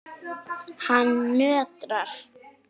Hann nötrar.